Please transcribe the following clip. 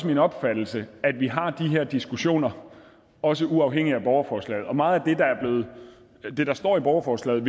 min opfattelse at vi har de her diskussioner også uafhængigt af borgerforslaget og meget af det der står i borgerforslaget